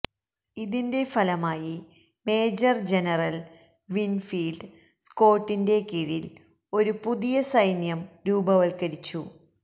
ഇതിന്റെ ഫലമായി major general Winfield സ്കോട്ടിന്റെ കീഴിൽ ഒരു പുതിയ സൈന്യം രൂപവത്കരിച്ചു